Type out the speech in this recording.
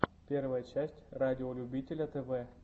первая часть радиолюбителя тв